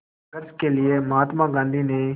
संघर्ष के लिए महात्मा गांधी ने